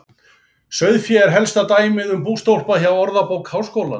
Sauðfé er elsta dæmið um bústólpa hjá Orðabók Háskólans.